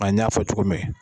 O la n y'a fɔ cogo min